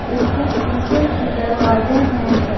इसके सीसे के दरवाजे हैं।